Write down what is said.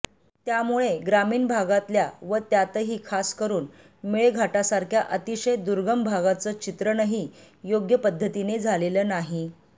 त्यामुळे ग्रामीण भागातल्या व त्यातही खासकरून मेळघाटासारख्या अतिशय दुर्गम भागाचं चित्रणही योग्य पद्धतीने झालेलं नाही